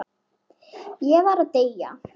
Ég var að deyja!